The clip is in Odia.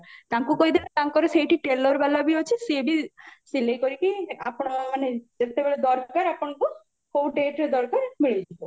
ତାଙ୍କୁ କହିଦେଲେ ତାଙ୍କର ସେଇଠି tailor ବାଲା ବି ଅଛି ସିଏ ବି ସିଲେଇ କରିକି ଆପଣ ମାନେ ଯେତେବେଳେ ଦରକାର ଆପଣଙ୍କୁ କଉ dateରେ ଦରକାର ମିଳିଯିବ